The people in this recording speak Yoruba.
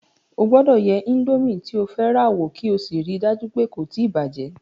O gbọ́dọ̀ yẹ indomi tí o fẹ́ rà wo kí o sì rí í dájú pé kò tí bàjẹ̀